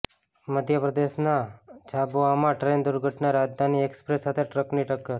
મધ્યપ્રદેશના જાબુઆમાં ટ્રેન દુર્ઘટના રાજધાની એક્સપ્રેસ સાથે ટ્રકની ટક્કર